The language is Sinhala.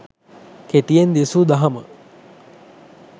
කෙටියෙන් දෙසූ දහම